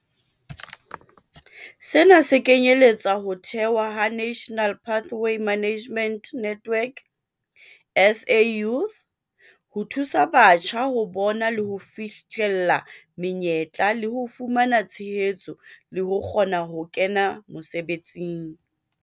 Sena se kenyeletsa ho thehwa ha National Pathway Management Network, SA Youth, ho thusa batjha ho bona le ho fihlella menyetla le ho fumana tshehetso le ho kgona ho kena mosebetsing.